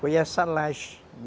Foi essa laje.